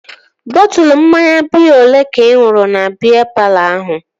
Bọtụlu mmanya biya olee ka ị ṅụrụ na biya palọ ahụ?